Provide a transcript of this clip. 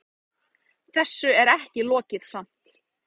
Þessu er ekki lokið samt.